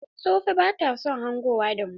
Sofee bata son hangowa da mu.